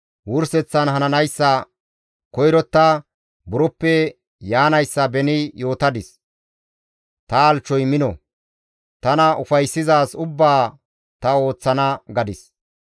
Wurseththan hananayssa koyrotta, buroppe yaanayssa beni yootadis; ‹Ta halchchoy mino; tana ufayssizaaz ubbaa ta ooththana› gadis.